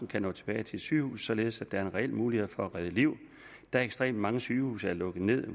kan nå tilbage til et sygehus således at der er en reel mulighed for at redde liv da ekstremt mange sygehuse er lukket ned